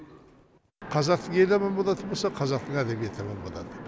қазақ елі аман болатын болса қазақтың мәдениеті аман болады